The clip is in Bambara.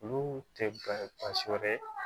Olu tɛ bansi wɛrɛ